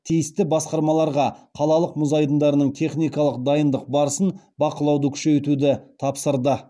тиісті басқармаларға қалалық мұз айдындарының техникалық дайындық барысын бақылауды күшейтуді тапсырды